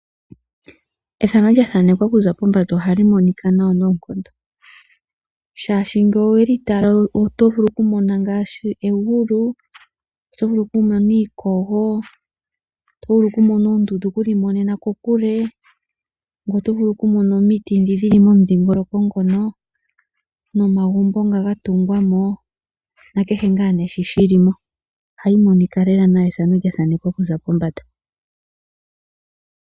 Ethano lya thanekwa okuza pombanda ohali monika nawa noonkondo. Shaashi ngele oweli tala oto vulu oku mona ngaashi egulu, oto vulu oku mona iikog, oto vulu okumona oondundu okudhi monena kokule, oto vulu oku mona omiiti dhi dhili kokule dhili momudhingoloko mono nomagumbo ngono gatugwa mo, nakehe ngaa nee sho shili mo. Ohayi monika nawa lela efano lyathanekwa okuza pombanda.